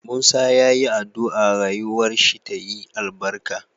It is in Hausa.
Musa yayi adua rayuwar shi tayi albarka